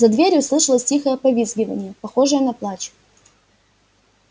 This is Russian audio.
за дверью слышалось тихое повизгиванье похожее на плач